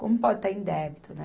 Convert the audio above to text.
Como pode estar em débito, né?